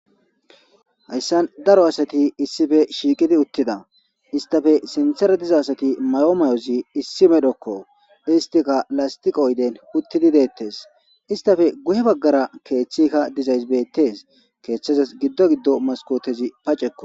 hayssan daro asati issife shiiqidi uttida istafe sintera diza asati mayo mayozi issi medokko istika lastiqo yden uttidi deettes istafe guhe baggara keeththikka dizays bettes keeththazas giddo giddo maskootezi pacekko